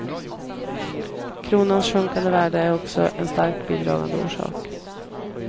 Kronans sjunkande värde är också en starkt bidragande orsak.